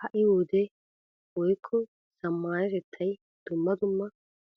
Ha"i wodee woykko zammaanatettay dumma dumma